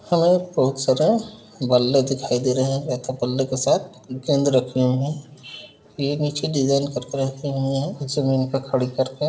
हमें बहोत सारा बल्ले दिखाई दे रहे हैं एक बल्ले के साथ गेंद रखी हुई हैं ये नीचे डिज़ाइन करके रखे हुए है जमींन पर खड़ी करके --